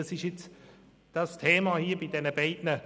Dazu müssen wir Ja oder Nein sagen.